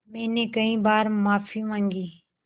मैंने कई बार माफ़ी माँगी